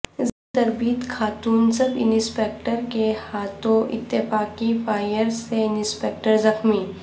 زیرتربیت خاتون sub inspector کے ہاتھوں اتفاقی فائرسے انسپکٹر زخمی